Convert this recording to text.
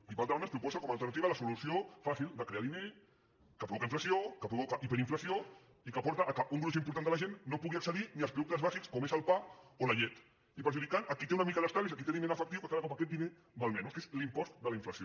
i per alta banda ens proposa com a alternativa la solució fàcil de crear diner que provoca inflació que provoca hiperinflació i que porta que un gruix important de la gent no pugui accedir als productes bàsics com són el pa o la llet i perjudica a qui té una mica d’estalvis a qui té diner en efectiu que cada cop aquest diner val menys que és l’impost de la inflació